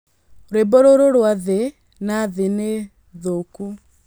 Rwĩmbo rũrũ rwa thĩ na thĩ ni thũku